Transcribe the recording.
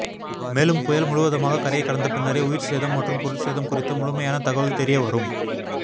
மேலும் புயல் முழுவதுமாக கரையை கடந்த பின்னரே உயிர்ச்சேதம் மற்றும் பொருட்சேதம் குறித்த முழுமையான தகவல் தெரியவரும்